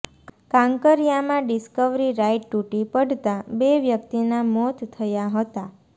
કાંકરિયામાં discovery ride તૂટી પડતાં બે વ્યક્તિના મોત થયા હતા